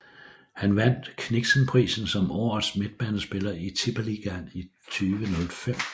Han vandt Kniksenprisen som årets midtbanespiller i Tippeligaen i 2005